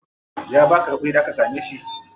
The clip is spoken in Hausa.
Ya baka hakuri da ka same shi?